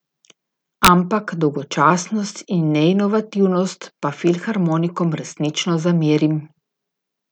Ampak dolgočasnost in neinovativnost pa filharmonikom resnično zamerim.